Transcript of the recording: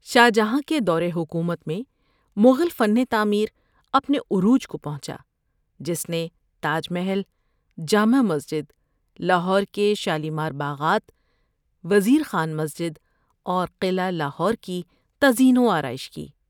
شاہ جہاں کے دور حکومت میں مغل فن تعمیر اپنے عروج کو پہنچا، جس نے تاج محل، جامع مسجد، لاہور کے شالیمار باغات، وزیر خان مسجد، اور قلعہ لاہور کی تزئین و آرائش کی۔